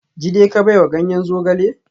Jide ka baiwa ganyen zogale?